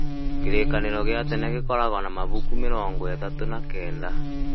Kĩrĩkanĩro gĩa tene gĩkoragwo na mabuku mĩrongo ĩtatũ na kenda